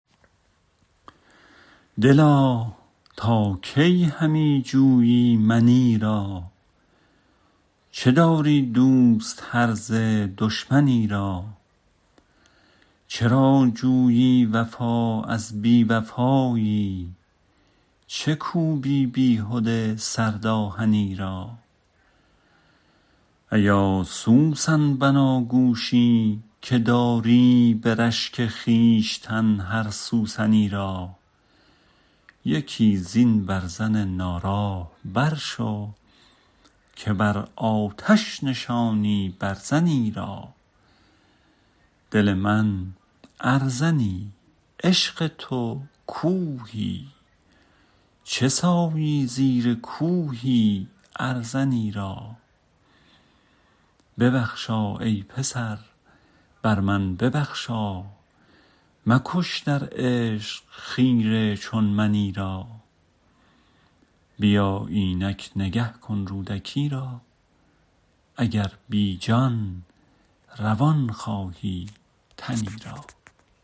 دلا تا کی همی جویی منی را چه داری دوست هرزه دشمنی را چرا جویی وفا از بی وفایی چه کوبی بیهده سرد آهنی را ایا سوسن بناگوشی که داری به رشک خویشتن هر سوسنی را یکی زین برزن ناراه برشو که بر آتش نشانی برزنی را دل من ارزنی عشق تو کوهی چه سایی زیر کوهی ارزنی را ببخشا ای پسر بر من ببخشا مکش در عشق خیره چون منی را بیا اینک نگه کن رودکی را اگر بی جان روان خواهی تنی را